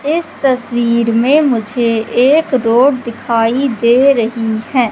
इस तस्वीर में मुझे एक रोड दिखाई दे रही है।